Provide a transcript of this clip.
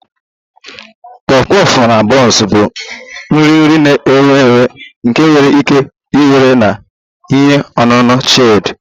Puff puff na buns bụ nri nri na-ewu ewu nke enwere ike iwere na ihe ọṅụṅụ chilled